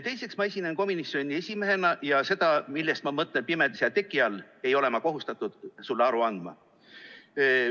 Teiseks, ma esinen komisjoni esimehena ja sellest, millest ma mõtlen pimedas ja teki all, ei ole ma kohustatud sulle aru andma.